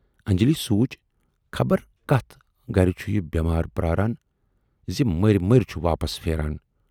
انجلی سونچ خبر کتھ گرِ چھُ یہِ بیمار پراران زِ مٔرۍ مٔرۍ چھُ واپَس پھیران